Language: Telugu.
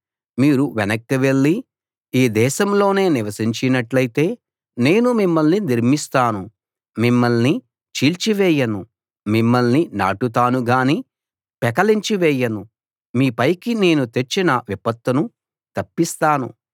మీరు వెనక్కి వెళ్లి ఈ దేశంలోనే నివసించినట్లయితే నేను మిమ్మల్ని నిర్మిస్తాను మిమ్మల్ని చీల్చివేయను మిమ్మల్ని నాటుతాను గానీ పెకలించి వేయను మీ పైకి నేను తెచ్చిన విపత్తును తప్పిస్తాను